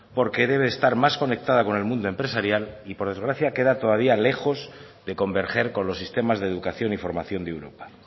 porque debe de estar más conectada con el mundo empresarial y por desgracia queda todavía lejos de converger con los sistemas de educación y formación de europa